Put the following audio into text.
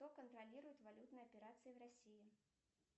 кто контролирует валютные операции в россии